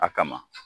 A kama